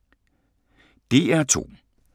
DR2